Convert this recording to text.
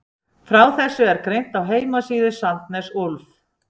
Frá þessu er greint á heimasíðu Sandnes Ulf.